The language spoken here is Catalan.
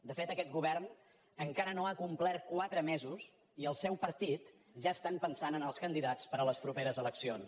de fet aquest govern encara no ha complert quatre mesos i al seu partit ja estan pensant en els candidats per a les properes eleccions